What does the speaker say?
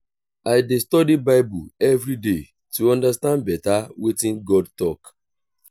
i dey study bible every day to understand better wetin god talk